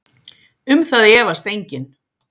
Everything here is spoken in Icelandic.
Um það efast enginn.